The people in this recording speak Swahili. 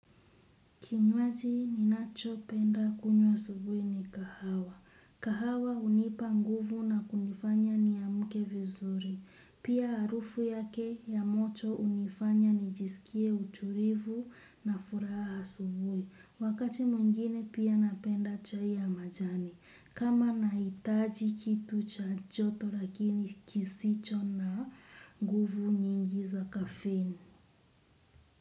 Kinywaji ninachopenda kunywa asubuhi ni kahawa. Kahawa hunipa nguvu na kunifanya niamke vizuri. Pia harufu yake ya moto hunifanya nijisikie utulivu na furaha asubuhi. Wakati mwingine pia napenda chai ya majani. Kama nahitaji kitu cha joto lakini kisicho na nguvu nyingi za kafein.